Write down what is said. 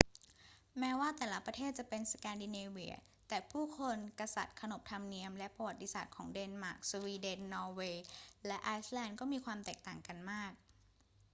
แม้ว่าแต่ละประเทศจะเป็น สแกนดิเนเวีย แต่ผู้คน กษัตริย์ ขนบธรรมเนียม และประวัติศาสตร์ของเดนมาร์ก สวีเดน นอร์เวย์ และไอซ์แลนด์ก็มีความแตกต่างกันมาก